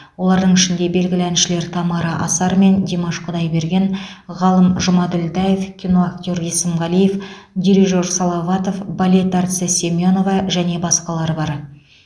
олардың ішінде белгілі әншілер тамара асар мен димаш құдайберген ғалым жұмаділдаев киноактер есімғалиев дирижер салаватов балет әртісі семенова және басқалар бар